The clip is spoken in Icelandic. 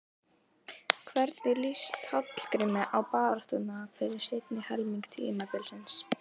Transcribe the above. Hvernig lýst Hallgrími á baráttuna fyrir seinni helming tímabilsins?